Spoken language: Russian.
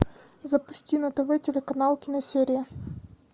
запусти на тв телеканал киносерия